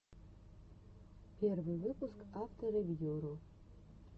первый выпуск авторевьюру